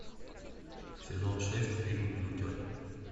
сезон шесть фильм лютер